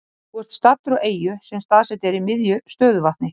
Þú ert staddur á eyju sem staðsett er í miðju stöðuvatni.